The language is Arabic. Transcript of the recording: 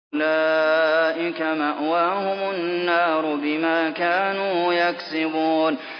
أُولَٰئِكَ مَأْوَاهُمُ النَّارُ بِمَا كَانُوا يَكْسِبُونَ